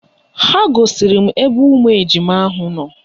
Ha gosiri m ebe ụmụ ejima ahụ nọ